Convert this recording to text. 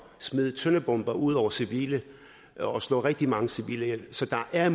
smide klyngebomber ud over civile og slå rigtig mange civile ihjel så der er